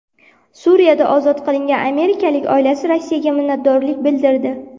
Suriyada ozod qilingan amerikalikning oilasi Rossiyaga minnatdorlik bildirdi.